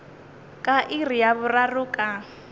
ka iri ya boraro ka